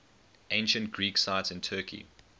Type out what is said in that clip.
ancient greek sites in turkey